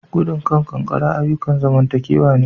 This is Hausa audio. Gudun kan kankara ayukan zamantakewa ne